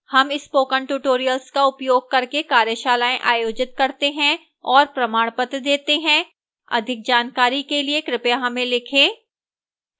हम spoken tutorial का उपयोग करके कार्यशालाएँ आयोजित करते हैं और प्रमाणपत्र देती है अधिक जानकारी के लिए कृपया हमें लिखें